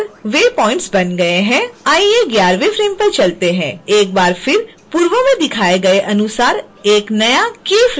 आइए 11 वें फ्रेम पर चलते हैं एक बार फिर पूर्व में दिखाए गए अनुसार एक नया keyframe जोड़ें